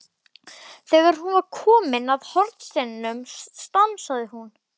Þegar hún var komin að hornsteininum stansaði hún.